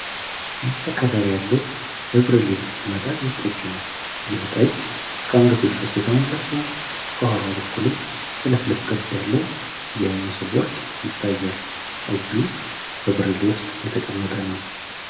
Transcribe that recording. ይህ ከለር ያለው በብርሌ የተቀመጠ ጠጅ ነው። ይህ ጠጅ እስከ አንገቱ ድረስ የተሞላ ሲሆን ከኋላው በኩልም ጥልፍልፍ ቅርጽ ያለው የመሶበ ወርቅ ይታያል። ጠጁ በብርሌ ውስጥ የተቀመጠ ነው።